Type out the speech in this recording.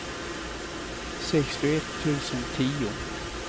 sextioett tusen tio